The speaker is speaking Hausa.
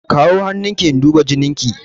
Kawo hannun ki in duba jinin ki!